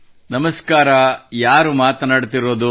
ನಮಸ್ಕಾರ ಯಾರು ಮಾತನಾಡುತ್ತಿರುವುದು